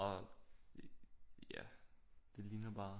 Og ja det ligner bare